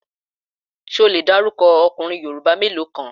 Ṣé o le dárúkọ ọkùnrin Yorùbá mélòó kan?